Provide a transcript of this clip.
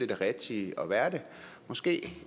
det rigtige at være måske